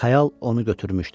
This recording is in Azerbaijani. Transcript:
Xəyal onu götürmüşdü.